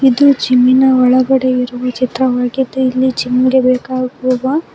ಇದು ಜಿಮ್ಮಿನ ಒಳಗಡೆ ಇರುವ ಚಿತ್ರವಾಗಿದೆ ಇಲ್ಲಿ ಜಿಮ್ ಗೆ ಬೇಕಾಗುವ--